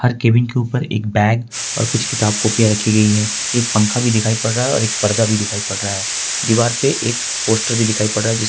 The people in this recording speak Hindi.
हर केबिन के ऊपर एक बैग और कुछ किताब कॉपीया रखी गई है एक पंखा भी दिखाई पड़ रहा है और एक पर्दा भी दिखाई पड़ रहा है दीवार पे एक पोस्टर भी दिखाई पड़ रहा है जिस --